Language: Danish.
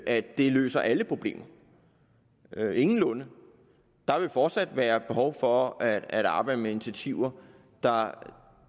at det løser alle problemer ingenlunde der vil fortsat være behov for at arbejde med initiativer